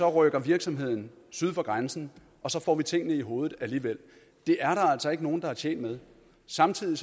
rykker virksomhederne syd for grænsen og så får vi tingene i hovedet alligevel det er der altså ikke nogen der er tjent med samtidig